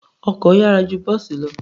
Ọkọ̀ yára ju bọ́ọ̀sì lọ.